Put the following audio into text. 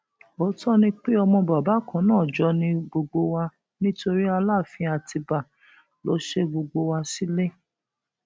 òótọ ni pé ọmọ bàbá kan náà jọ ni gbogbo wa nítorí aláàfin àtibá ló ṣe gbogbo wa sílẹ